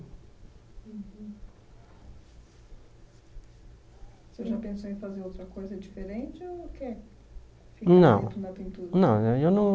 Você já pensou em fazer outra coisa diferente ou quer... Não. tudo Eu não